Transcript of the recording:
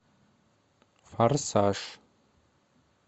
форсаж